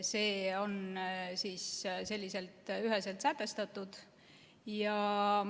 See on selliselt üheselt sätestatud.